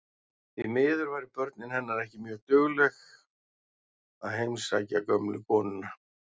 Því miður væru börnin hennar ekki mjög dugleg að heimsækja gömlu konuna.